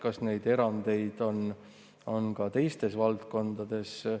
Kas neid erandeid on ka teistes valdkondades?